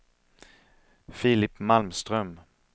Filip Malmström